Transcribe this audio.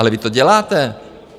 Ale vy to děláte.